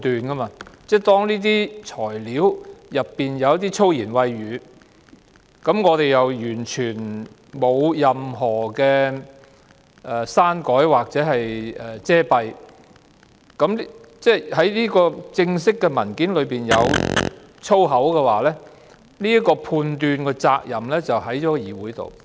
當這些材料中夾雜一些粗言穢語，又完全沒有任何刪改或遮蔽，之後這份正式文件中出現粗言穢語，判斷的責任就在議會。